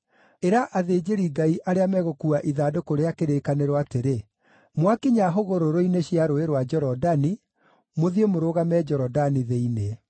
Ĩra athĩnjĩri-Ngai arĩa megũkuua ithandũkũ rĩa kĩrĩkanĩro atĩrĩ: ‘Mwakinya hũgũrũrũ-inĩ cia Rũũĩ rwa Jorodani, mũthiĩ mũrũgame Jorodani thĩinĩ.’ ”